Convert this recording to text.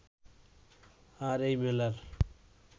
আর এই মেলার